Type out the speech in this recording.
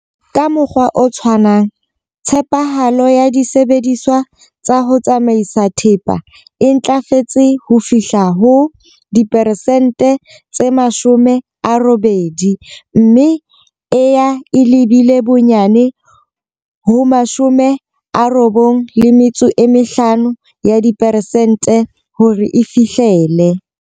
Ka mokgwa o tshwanang, tshepahalo ya disebediswa tsa ho tsamaisa thepa e ntlafetse ho fihla ho 80 mme e ya e lebile bonyane ho 95 ya diperesente hore e fihlele.